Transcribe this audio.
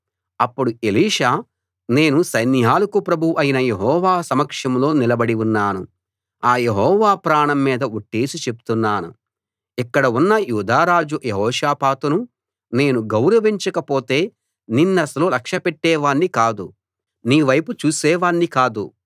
అప్పుడు ఎలీషా నేను సైన్యాలకు ప్రభువు అయిన యెహోవా సమక్షంలో నిలబడి ఉన్నాను ఆ యెహోవా ప్రాణం మీద ఒట్టేసి చెప్తున్నాను ఇక్కడ ఉన్న యూదా రాజు యెహోషాపాతును నేను గౌరవించకపోతే నిన్నసలు లక్ష్యపెట్టేవాణ్ణి కాదు నీ వైపు చూసే వాణ్ణి కాదు